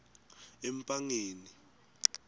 empangeni